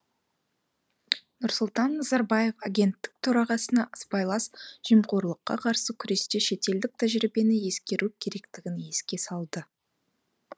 нұрсұлтан назарбаев агенттік төрағасына сыбайлас жемқорлыққа қарсы күресте шетелдік тәжірибені ескеру керектігін еске салды